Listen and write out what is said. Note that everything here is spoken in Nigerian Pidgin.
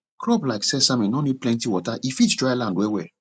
crop like sesame nor need plenty water e fit dryland well well